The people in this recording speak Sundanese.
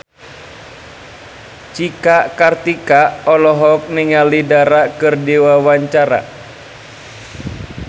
Cika Kartika olohok ningali Dara keur diwawancara